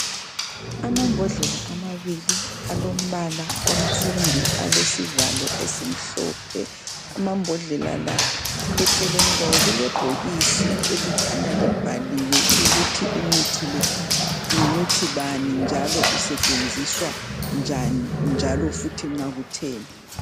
Amabhodlela amabili alombala onsundu alesivalo esimhlophe amabhodlela la ecelwni kwawo kulebhokisi elikhanya libhaliwe ukuthi umuthi lo ngumuthi bani njalo usetshenziswa njan njalo futhi nxa kutheni